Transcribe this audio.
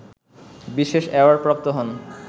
বিশেষ অ্যাওয়ার্ডপ্রাপ্ত হন